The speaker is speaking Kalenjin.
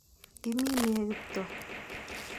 Iimi ne Kiptoo?